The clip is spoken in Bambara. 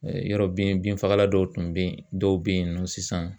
Yɔrɔ bin binfagalan dɔw tun bɛ ye dɔw bɛ yen nɔ sisan